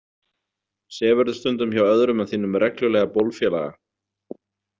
Sefurðu stundum hjá öðrum en þínum reglulega bólfélaga?